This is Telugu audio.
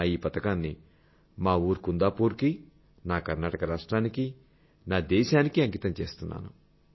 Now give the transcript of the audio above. నా ఈ పతకాన్ని మా ఊరు కుందాపూర్ కీ నా కర్నాటక రాష్ట్రానికీ నా దేశానికీ అంకితం చేస్తున్నాను